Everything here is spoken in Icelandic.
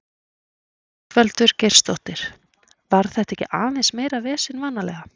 Ingveldur Geirsdóttir: Var þetta ekki aðeins meira vesen vanalega?